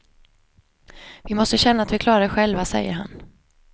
Vi måste känna att vi klarar av det själva, säger han.